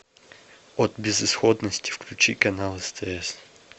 от безысходности включи канал стс